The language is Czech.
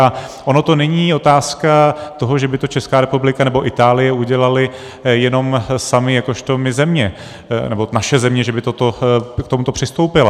A ona to není otázka toho, že by to Česká republika nebo Itálie udělaly jenom samy jakožto my země, nebo naše země, že by k tomuto přistoupila.